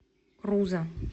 руза